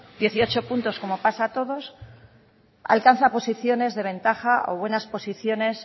dieciocho puntos como pasa a todos alcanza posiciones de ventaja o buenas posiciones